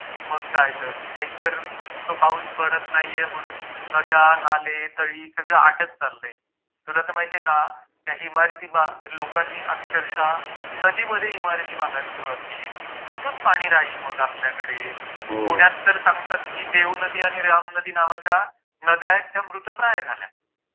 मग काय तर एकतर तो पाऊस पडत नाहीये म्हणून नद्या नाले तळी सगळ आटत चाललंय तुला तर माहितीये का त्या इमारती बा लोकांनी अक्षरश: नदी मध्ये इमारती बांधायला सुरुवात केलीये...कुठून पाणी राहील मग आपल्याकडे हो पुण्यात तर सांगतात ती देव नदी आणि राम नदी नावाच्या नद्या आहेत त्या मृतप्राय झाल्या...